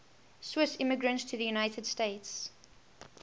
swiss immigrants to the united states